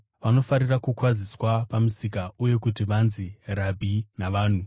Vanofarira kukwaziswa pamisika uye kuti vanzi ‘Rabhi’ navanhu.